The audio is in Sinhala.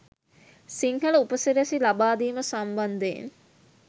සිංහල උපසිරැසි ලබාදීම සම්බන්ධයෙන්.